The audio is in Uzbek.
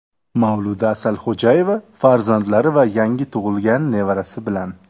Mavluda Asalxo‘jayeva farzandlari va yangi tug‘ilgan nevarasi bilan.